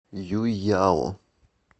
юйяо